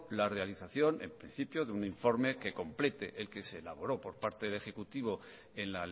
la realización en principio de un informe que complete el que se elaboró por parte del ejecutivo en